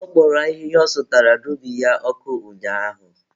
Ọ kpọrọ ahịhịa ọ sụtara n'ubi ya ọkụ ụnyaahụ.